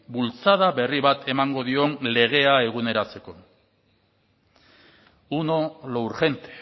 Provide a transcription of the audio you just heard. bultzada berri bat emango dion legea eguneratzeko uno lo urgente